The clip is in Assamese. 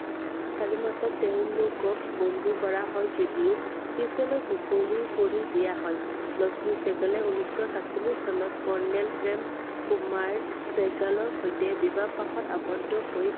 চাৰি মাৰ্চত তেওঁলোকক বন্দী কৰা হয় যদিও পিছলৈ মুকলি কৰি দিয়া হয়I লক্ষ্মী চেহ্গালে উনৈশ সাতচল্লিচ চনত colonel প্ৰেম কুমাৰ চেহ্গালৰ সৈতে বিবাহ পাশত আৱদ্ধ হৈ